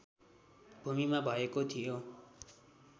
भूमिमा भएको थियो